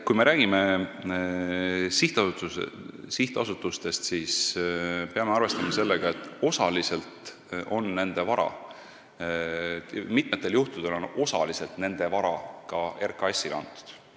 Kui me räägime sihtasutustest, siis peame arvestama, et mitmel juhul on nende vara osaliselt RKAS-ile antud.